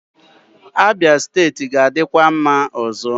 Abia steeti ga-adịkwa mma ọzọ.